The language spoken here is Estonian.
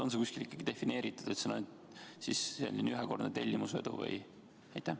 On see kuskil defineeritud, et juhuvedu on ainult selline ühekordne tellimusvedu?